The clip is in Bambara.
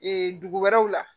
Ee dugu wɛrɛw la